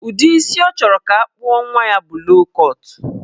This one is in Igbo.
Udi isi ọ chọrọ ka akpụọ nwa ya bụ low kọt.